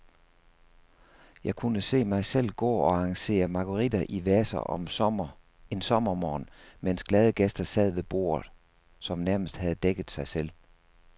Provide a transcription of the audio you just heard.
Jeg kunne se mig selv gå og arrangere marguritter i vaser en sommermorgen, mens glade gæster sad ved borde, som nærmest havde dækket sig selv.